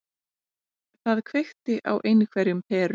Það kveikti á einhverjum perum.